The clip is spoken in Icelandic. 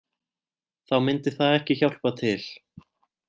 Þá myndi það ekki hjálpa til